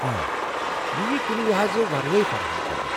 آ، یہ ییہٕ كُنہِ لحاظہٕ ورٲے فراہم کرنہٕ۔